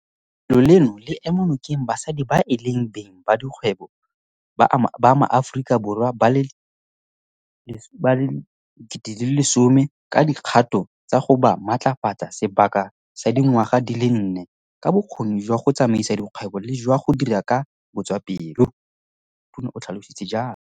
Lefelo leno le ema nokeng basadi ba e leng beng ba dikgwebo ba maAforika Borwa ba le 10 000 ka dikgato tsa go ba matlafatsa sebaka sa di ngwaga di le nne ka bokgoni jwa go tsamaisa dikgwebo le jwa go dira ka botswapelo, Tona o tlhalositse jalo.